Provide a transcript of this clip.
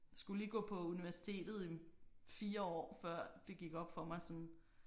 Skulle lige gå på universitetet en 4 år før det gik op for mig sådan